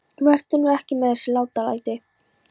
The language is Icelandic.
Vertu nú ekki með þessi látalæti.